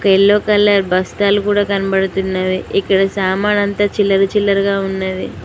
Yellow colour బస్తాలు కూడా కనబడుతున్నవి ఇక్కడ సామాన్ అంతా చిల్లర చిల్లరగా ఉన్నది.